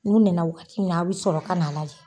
N'u nana wakati min na a bɛ sɔrɔ ka n'a lajɛ.